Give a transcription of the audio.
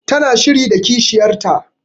Ta na shiri da kishiyar ta